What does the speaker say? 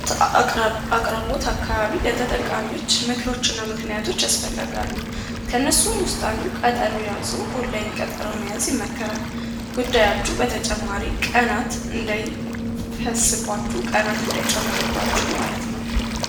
አቅራቡት አካባቢ ለተጠቃሚዎች ምክር አገልግሎት ያስፈልጋል ከእነርሱም ውስጥ አንዱ ቀጠሮ የያዘ በኦንላይን ቢያንስ ይመከራል ጉዳያቸው በተጨማሪ ቀናት እንዳይጨምርባችሁ ማለት ነው።